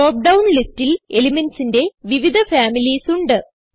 drop down ലിസ്റ്റിൽ elementsന്റെ വിവിധ ഫാമിലീസ് ഉണ്ട്